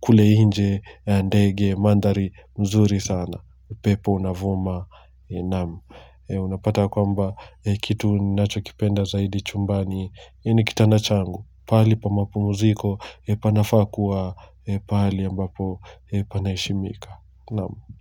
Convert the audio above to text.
kule nje ndege manthari nzuri sana upepo unavuma. Naam. Unapata kwamba kitu ninachokipenda zaidi chumbani ni kitanda changu. Pahali pa mapumziko panafaa kuwa pahali ambapo Panaheshimika. Naam. Kwa.